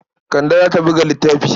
Kande za ta buga littafi.